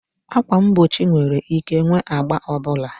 Ákwà mgbochi nwere ike ịnwe agba ọ bụla